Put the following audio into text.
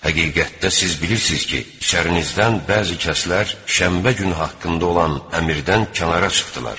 Həqiqətdə siz bilirsiz ki, şəninizdən bəzi kəslər şənbə günü haqqında olan əmrdən kənara çıxdılar.